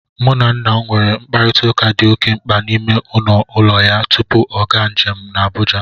Mụ na nna m nwere mkparịtaụka dị oke mkpa n' ime ọnụ ụlọ ya tupu ọ gaa njem n' Abụja